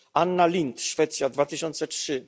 r., Anna Lindh Szwecja, 2003